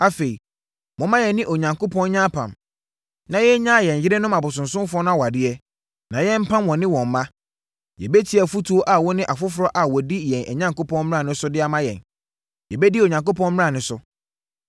Afei, momma yɛne yɛn Onyankopɔn nyɛ apam, na yɛnnyaa yɛn yerenom abosonsomfoɔ no awadeɛ, na yɛmpam wɔne wɔn mma. Yɛbɛtie afotuo a wo ne afoforɔ a wɔdi yɛn Onyankopɔn mmara no so de ama yɛn. Yɛbɛdi Onyankopɔn mmara no so.